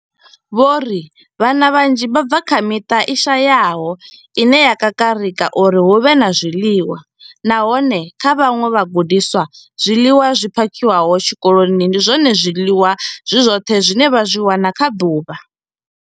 Vho ri vhana vhanzhi vha bva kha miṱa i shayaho ine ya kakarika uri hu vhe na zwiḽiwa, nahone kha vhaṅwe vhagudiswa, zwiḽiwa zwi phakhiwaho tshikoloni ndi zwone zwiḽiwa zwi zwoṱhe zwine vha zwi wana kha ḓuvha.